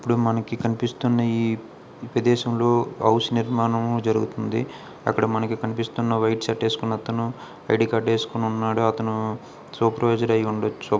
ఇప్పుడు మనకి కనిపిస్తున్న ఈ ప్రదేశంలో హౌస్ నిర్మాణము జరుగుతుంది. అక్కడ మనకి కనిపిస్తున్న వైట్ షర్ట్ వేసుకున్న అతను ఐ_డి కార్డ్ వేసుకొని ఉన్నాడు. అతను సూపర్వైజర్ అయి ఉండొచ్చు.